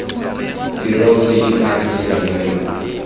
tirong kgr ke ena yo